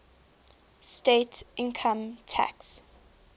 state income tax